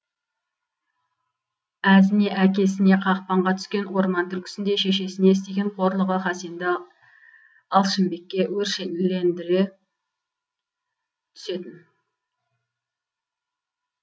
әзіне әкесіне қақпанға түскен орман түлкісіндей шешесіне істеген қорлығы хасенді алшынбекке өршелендіре түсетін